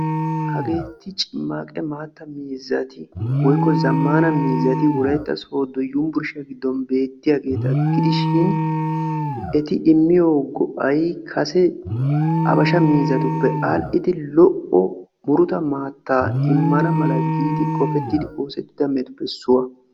Hageeti cimmaaqe maatta miizzati woykko Zammaana miizzati wolaytta sooddo umburshiya giddon beettiyageeta gidishin eti immiyo go'ay kase abasha miizzatuppe aadhdhidi lo'o muruta maattaa immana mala giidi oosettida mehetuppe issuwa.